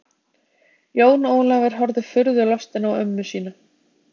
Jón Ólafur horfði furðulostinn á ömmu sína.